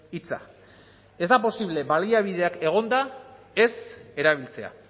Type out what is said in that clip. hitza ez da posible baliabideak egonda ez erabiltzea